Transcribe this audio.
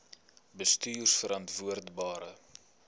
bestuurverantwoordbare